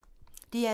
DR2